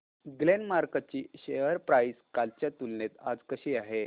Glenmark ची share price कालच्या तुलनेत आज कशी आहे